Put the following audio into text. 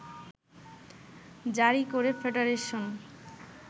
জারী করে ফেডারেশন